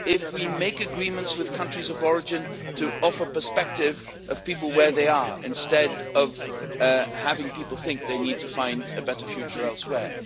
if we make agreements with countries of origin to offer prospects to people where they are instead of having people think they need to find a better future elsewhere